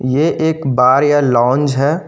ये एक बार या लाउंज है।